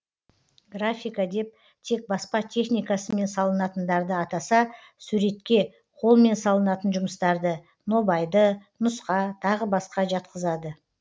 графика деп тек баспа техникасымен салынатындарды атаса суретке қолмен салынатын жұмыстарды нобайды нұсқа тағы басқа жатқызады